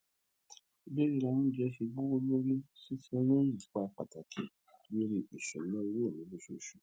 bí ríra óunjẹ ṣe gbówó lórí sí i ti ní ipá pàtàkì lòri ìsúnáowó mi lóṣooṣù